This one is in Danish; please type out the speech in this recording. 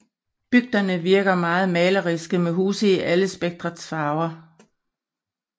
Bygderne virker meget maleriske med huse i alle spektrets farver